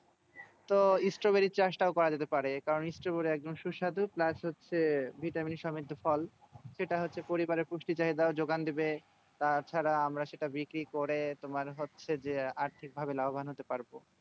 তো stroberi চাষ তও করা যেতে পারে কারো stroberi সুস্বাদু plus হচ্ছে ভিটামিন সমৃতি ফল সেটা হচ্ছে পরিবারের পুষ্টি বা যোগান দেবে তাছাড়া আমরা সেটা বিক্রি করে তোমার হচ্ছে যে আর্থিক ভাবে লাভবান হতে পারবো